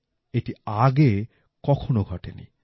এটি আগে কখনও ঘটেনি